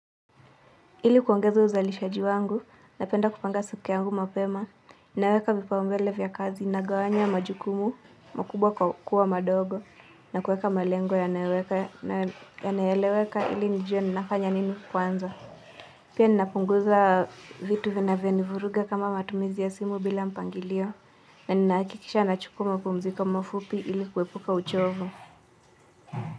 Ili kuongeza uzalishaji wangu, napenda kupanga siku yangu mapema, naweka vipao mbele vya kazi, nagawanya majukumu, makubwa kuwa madogo, na kuweka malengo yanayoeleweka ili nijue ninafanya nini kwanza. Pia ninapunguza vitu vinavyo nivuruga kama matumizi ya simu bila mpangilio, na ninahakikisha nachukua mapumziko mafupi ili kuepuka uchovu.